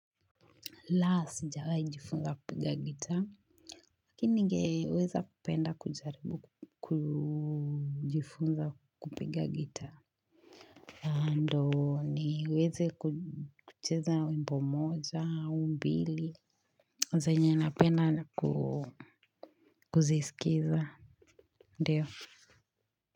La sijawahijifunza kupiga gitaa. Lakini ningeweza kupenda kujaribu kujifunza kupiga gitaa. Ndio niweze kucheza wimbo moja au mbili. Zenye napenda na kuzisikiza. Ndio.